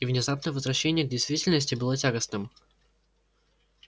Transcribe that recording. и внезапное возвращение к действительности было тягостным